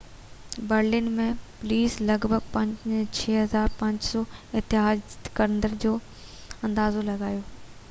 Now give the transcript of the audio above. Berlin ۾، police لڳ ڀڳ 6،500 احتجاج ڪندڙن جو اندازو لڳايو